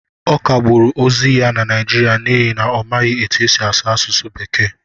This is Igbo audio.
Ọ kagburu ozi ya na Naịjirịa n'ihi na ọ maghị etu esi asụ asụsụ bekee